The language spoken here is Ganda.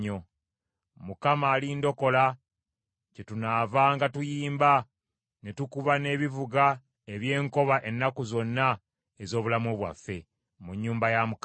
Mukama alindokola, kyetunaavanga tuyimba ne tukuba n’ebivuga eby’enkoba ennaku zonna ez’obulamu bwaffe, mu nnyumba ya Mukama .